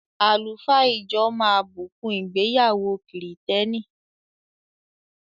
Àlùfáà ijọ máa bùkún ìgbéyàwó kìrìtẹ́nì.